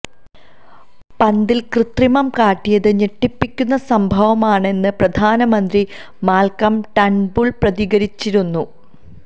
പന്തില് കൃത്രിമം കാട്ടിയത് ഞെട്ടിപ്പിക്കുന്ന സംഭവമാണ് എന്ന് പ്രധാനമന്ത്രി മാല്ക്കം ടേണ്ബുള് പ്രതികരിച്ചിരുന്നു